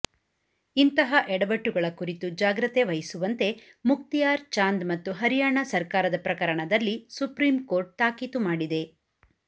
ಇಂತಹ ಎಡವಟ್ಟುಗಳ ಕುರಿತು ಜಾಗ್ರತೆ ವಹಿಸುವಂತೆ ಮುಕ್ತಿಯಾರ್ ಚಾಂದ್ ಮತ್ತು ಹರಿಯಾಣ ಸರ್ಕಾರದ ಪ್ರಕರಣದಲ್ಲಿ ಸುಪ್ರೀಂ ಕೋರ್ಟ್ ತಾಕೀತು ಮಾಡಿದೆ